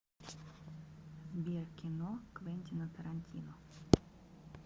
сбер кино квентино тарантино